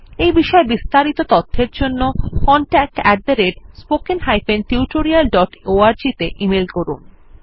এই বিষয় বিস্তারিত তথ্যের জন্য contactspoken tutorialorg তে ইমেল করুন